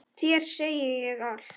Þér segi ég allt.